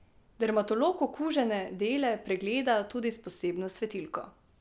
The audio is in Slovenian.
Dermatolog okužene dele pregleda tudi s posebno svetilko.